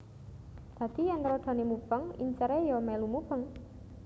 Dadi yèn rodhané mubeng inceré iya milu mubeng